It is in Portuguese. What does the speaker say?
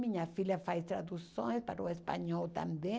Minha filha faz traduções para o espanhol também.